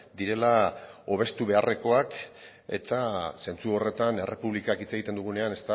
direla hobestu beharrezkoak eta zentzu horretan errepublikaz hitz egiten dugunean